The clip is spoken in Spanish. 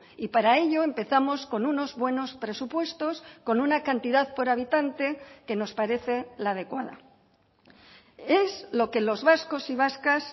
y para ello empezamos con unos buenos presupuestos con una cantidad por habitante que nos parece la adecuada es lo que los vascos y vascas